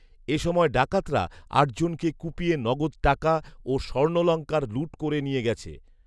এ সময়ে ডাকাতরা আটজনকে কুপিয়ে নগদ টাকা ও স্বর্ণলংকার লুট করে নিয়ে গেছে।